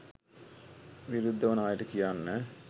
විරුද්දවන අයට කියන්න